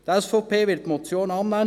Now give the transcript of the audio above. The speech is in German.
Die SVP wird die Motion annehmen.